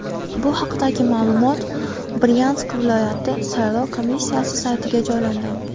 Bu haqdagi ma’lumot Bryansk viloyati saylov komissiyasi saytiga joylangan .